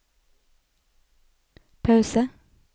pause